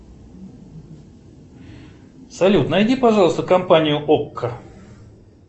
салют найди пожалуйста компанию окко